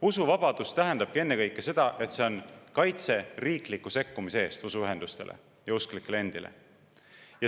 Usuvabadus tähendabki ennekõike usuühenduste ja usklike endi kaitset riikliku sekkumise eest.